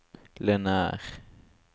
lineær